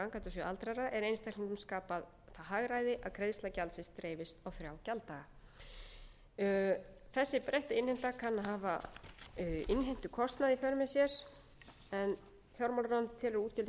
er einstaklingum skapað það hagræði að greiðsla gjaldsins greiðist á þrjá gjalddaga þessi breytta innheimta kann að hafa innheimtukostnað í för með sér en fjármálaráðuneytið telur að útgjöldin gætu aukist um níunda milljónir króna sem fælust þá